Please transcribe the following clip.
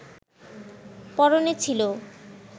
পরনে ছিল